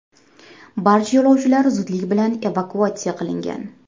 Barcha yo‘lovchilar zudlik bilan evakuatsiya qilingan.